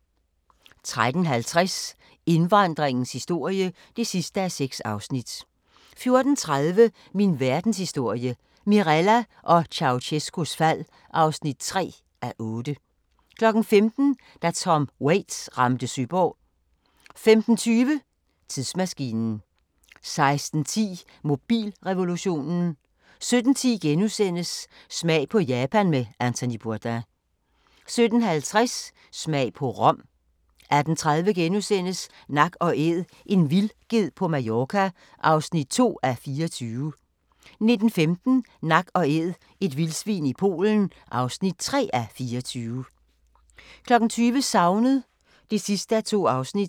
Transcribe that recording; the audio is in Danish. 13:50: Indvandringens historie (6:6) 14:30: Min Verdenshistorie – Mirella og Ceaucescaus fald (3:8) 15:00: Da Tom Waits ramte Søborg 15:20: Tidsmaskinen 16:10: Mobilrevolutionen 17:10: Smag på Japan med Anthony Bourdain * 17:50: Smag på Rom 18:30: Nak & Æd – en vildged på Mallorca (2:24)* 19:15: Nak & Æd – et vildsvin i Polen (3:24) 20:00: Savnet (2:2)